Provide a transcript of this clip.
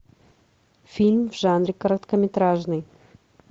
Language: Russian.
фильм в жанре короткометражный